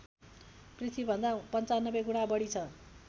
पृथ्वीभन्दा ९५ गुणा बढी छ